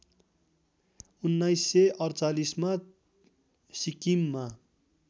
१९४८ मा सिक्किममा